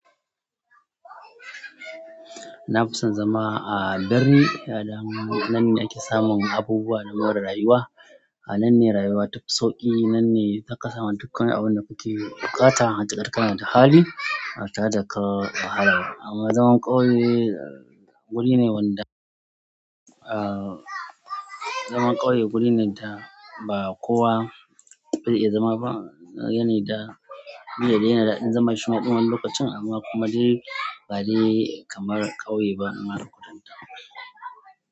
Na fi son zama a dare, ya dangane ake samun abubuwa na more rayuwa. A nan ne rayuwa ta fi sauƙi, nan ne za ka samu matukan abin da kuke buƙata a cikin alkama da hali, ba tare da ka wahala ba. Amma zaman ƙauye wuri ne wanda, ah, zaman ƙauye wuri ne da ba kowa bai iya zama ba. Ya ne da, ya ne da inda zama shi maɗimar lokacin amma kuma dai ba dai kamar ƙauye ba na kudanta.